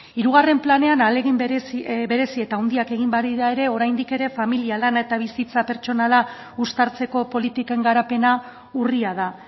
hirugarren planean ahalegin berezi eta handiak egin badira ere oraindik ere familia lana eta bizitza pertsonala uztartzeko politiken garapena urria da